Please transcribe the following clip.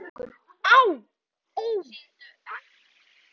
Á, ó, æ